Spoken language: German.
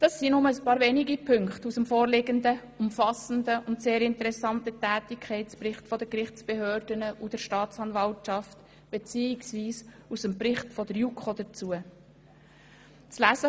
Dies sind nur einige wenige Punkte aus dem vorliegenden umfassenden und sehr interessanten Tätigkeitsbericht der Gerichtsbehörden und der Staatsanwaltschaft, beziehungsweise aus dem Bericht, den die JuKo dazu verfasst hat.